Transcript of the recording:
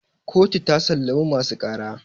kotu ta sallami masu ƙara